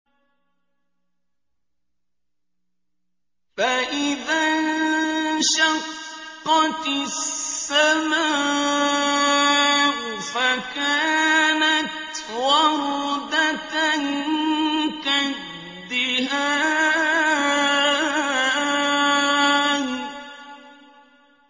فَإِذَا انشَقَّتِ السَّمَاءُ فَكَانَتْ وَرْدَةً كَالدِّهَانِ